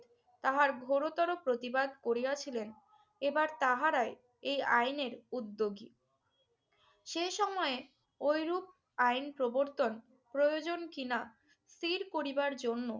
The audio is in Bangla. তাহার গুরুতর প্রতিবাদ করিয়াছিলেন এবার তাহারাই এই আইনের উদ্যোগী। সে সময়ে ঐরূপ আইন প্রবর্তন প্রয়োজন কিনা স্থির করিবার জন্য